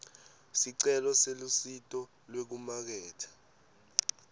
sicelo selusito lwekumaketha